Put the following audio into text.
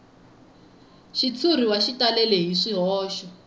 xitshuriwa xi talele hi swihoxo